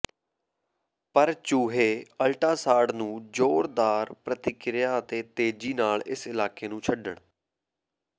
ਪਰ ਚੂਹੇ ਅਲਟਾਸਾਡ ਨੂੰ ਜ਼ੋਰਦਾਰ ਪ੍ਰਤੀਕਿਰਿਆ ਅਤੇ ਤੇਜ਼ੀ ਨਾਲ ਇਸ ਇਲਾਕੇ ਨੂੰ ਛੱਡਣ